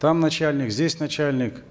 там начальник здесь начальник